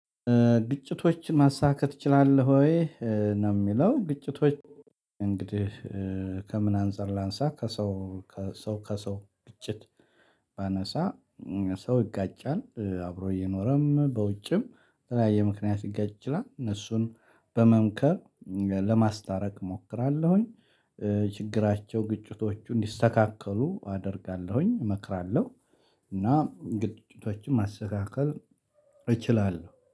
ግጭቶችን ማሳካት እችላለሁ ወይ ነው? የሚለው። ግጭቶች እንግዲህ ከምን አንፃር ላንሳ ከሰው ከሰው ከሰው ግጭት ባነሳ ሰው ይጋጫል አብሮ እየኖረም በውጭም የተለያየ ምክንያት ይጋጫል እነሱን በመምከር ለማስታረቅ እሞክራለሁኝ። ችግራቸው ግጭቶቹ እንዲስተካከሉ አደርጋለሁኝ እመክራለሁ። እና ግጭቶችን ማስተካከል እችላለሁ